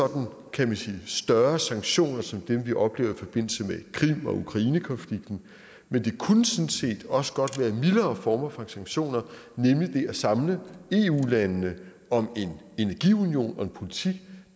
kan man sige større sanktioner som det vi oplever i forbindelse med krim og ukrainekonflikten men det kunne sådan set også godt være mildere former for sanktioner nemlig at samle eu landene om en energiunion og en politik